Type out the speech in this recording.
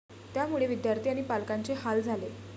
त्यामुळे विद्यार्थी आणि पालकांचे हाल झाले.